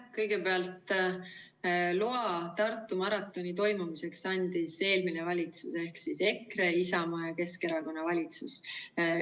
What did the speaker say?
Kõigepealt, loa Tartu maratoni toimumiseks andis eelmine valitsus ehk siis EKRE, Isamaa ja Keskerakonna valitsus.